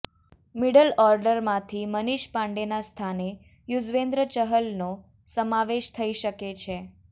middle ઓર્ડરમાંથી મનીષ પાંડેના સ્થાને યુઝવેન્દ્ર ચહલનો સમાવેશ થઈ શકે છે